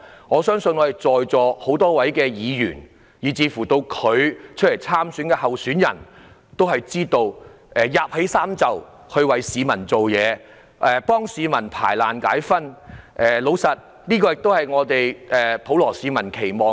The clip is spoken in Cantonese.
我相信在座很多議員及有份參選的候選人都知道，區議員會捲起衣袖為市民服務，替市民排難解紛，而這亦是普羅市民的期望。